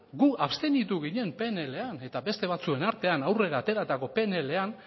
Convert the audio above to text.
gu abstenitu ginen pnlan eta beste batzuen artean aurrera ateratako pnlan